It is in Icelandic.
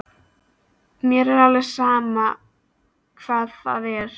Mér er alveg sama hvað það er.